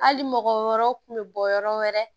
Hali mɔgɔ wɔɔrɔ kun bɛ bɔ yɔrɔ wɛrɛ